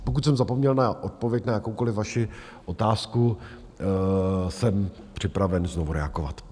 Pokud jsem zapomněl na odpověď na jakoukoliv vaši otázku, jsem připraven znovu reagovat.